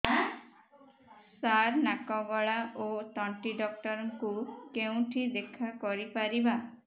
ସାର ନାକ ଗଳା ଓ ତଣ୍ଟି ଡକ୍ଟର ଙ୍କୁ କେଉଁଠି ଦେଖା କରିପାରିବା